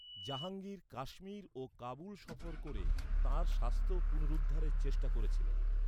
জাহাঙ্গীর কাশ্মীর ও কাবুল সফর করে তাঁর স্বাস্থ্য পুনরুদ্ধারের চেষ্টা করছিলেন।